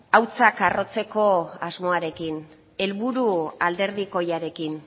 hautsak arrotzeko asmoarekin helburu alderdikoiarekin